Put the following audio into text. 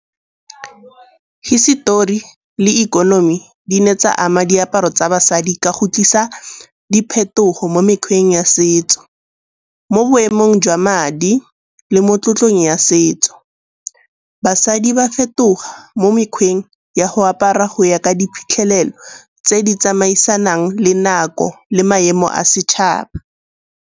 Histori le ikonomi di ne tsa ama diaparo tsa basadi ka go tlisa diphetogo mo mekgweng ya setso, mo boemong jwa madi le mo tlotlang ya setso. Basadi ba fetoga mo mekgweng ya go apara go ya ka diphitlhelelo tse di tsamaisanang le nako le maemo a setšhaba.